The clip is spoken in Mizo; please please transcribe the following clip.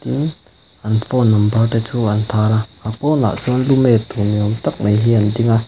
tin an phone number te chu an tar a a pawnah chuan lu met tur ni awm tak mai hi an ding a.